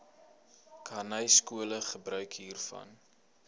khanyaskole gebruik hiervan